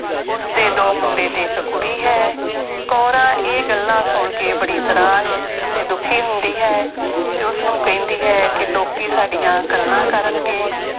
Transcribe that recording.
ਉਸਦੇ ਦੋ ਮੁੰਡੇ ਤੇ ਇੱਕ ਕੁੜੀ ਹੈ ਕੋਰਾਂ ਇਹ ਗੱਲਾਂ ਸੁਣ ਕੇ ਬੜੀ ਨਰਾਸ਼ ਤੇ ਦੁੱਖੀ ਹੁੰਦੀ ਹੈ ਤੇ ਉਸਨੂੰ ਕਹਿੰਦੀ ਹੈ ਕਿ ਲੋਕੀ ਸਾਡੀਆਂ ਗੱਲਾਂ ਕਰਨਗੇ।